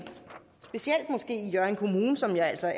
måske specielt i hjørring kommune som jeg altså